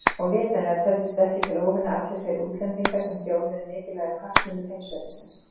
Og vitanlega töldust ekki til óvina allir þeir útlendingar sem þjónuðu mikilvægum hagsmunum heimsveldisins.